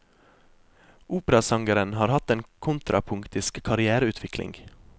Operasangeren har hatt en kontrapunktisk karrièreutvikling.